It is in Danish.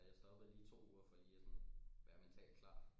Ja jeg stoppede lige to uger for lige og sådan være mentalt klar